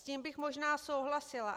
S tím bych možná souhlasila.